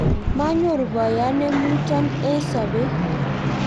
manyoru boyot ne muchon eng sobet